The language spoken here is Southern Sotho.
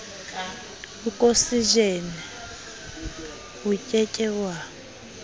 okosejene o ke ke wa